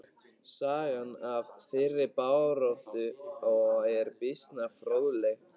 Sagan af þeirri baráttu er býsna fróðleg.